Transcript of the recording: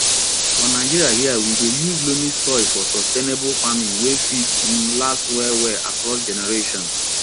for nigeria here we dey use loamy soil for sustainable farming wey fit um last well well across generations